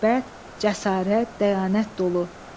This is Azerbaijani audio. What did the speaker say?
Məhəbbət, cəsarət, dəyanət dolu.